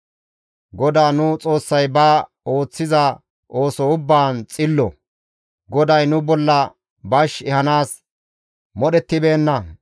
GODAA nu Xoossay ba ooththiza ooso ubbaan xillo; GODAY nu bolla bash ehanaas modhettibeenna.